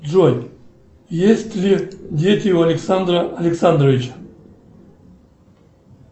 джой есть ли дети у александра александровича